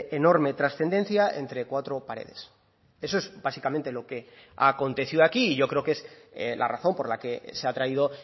enorme trascendencia entre cuatro paredes eso es básicamente lo que ha acontecido aquí y yo creo que es la razón por la que se ha traído